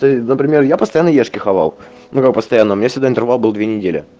то есть например я постоянно ешки хавал ну как постоянно у меня всегда интервал был две недели